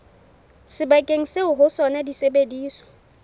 sebakeng seo ho sona disebediswa